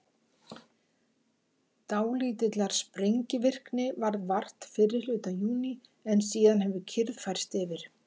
dálítillar sprengivirkni varð vart fyrri hluta júní en síðan hefur kyrrð færst yfir